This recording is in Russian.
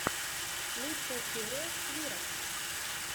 лучшая серия свирок